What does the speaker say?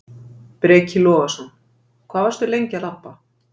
Breki Logason: Hvað varstu lengi að labba?